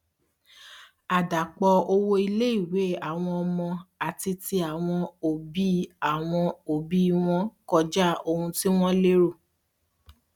àdàpọ owó iléìwé àwọn ọmọ àti tí àwọn òbí àwọn òbí wọn kọjá ohun tí wón lérò